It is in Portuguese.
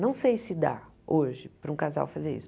Não sei se dá hoje para um casal fazer isso.